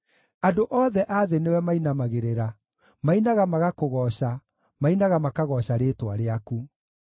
Andũ othe a thĩ nĩwe mainamagĩrĩra; mainaga magakũgooca, mainaga makagooca rĩĩtwa rĩaku.”